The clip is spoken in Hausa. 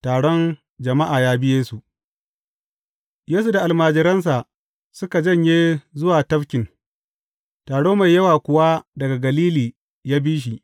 Taron jama’a ya bi Yesu Yesu da almajiransa suka janye zuwa tafkin, taro mai yawa kuwa daga Galili ya bi shi.